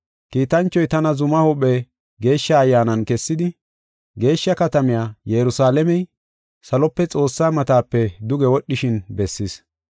Kiitanchoy tana zuma huuphe Geeshsha Ayyaanan kessidi, geeshsha katamay, Yerusalaamey, salope Xoossaa matape duge wodhishin bessis.